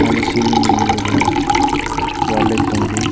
மேல சீலிங்லந்து ஒரு வால் லைட் தொங்குது.